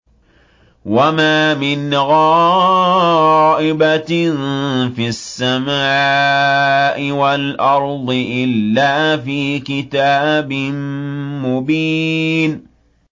وَمَا مِنْ غَائِبَةٍ فِي السَّمَاءِ وَالْأَرْضِ إِلَّا فِي كِتَابٍ مُّبِينٍ